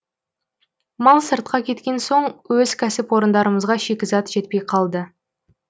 мал сыртқа кеткен соң өз кәсіпорындарымызға шикізат жетпей қалды